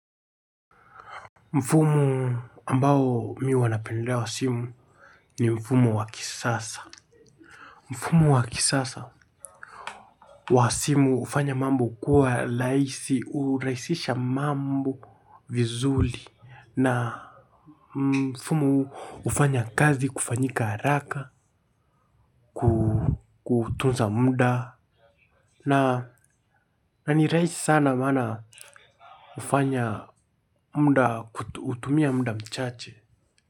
Mfumo ambao mi huwanapendelea wa simu ni mfumo wa kisasa. Mfumo wa kisasa wa simu hufanya mambo kuwa rahisi, hurahisisha mambo vizuri na mfumo huu hufanya kazi kufanyika haraka kutunza muda na na ni rahisi sana maana hutumia muda mchache.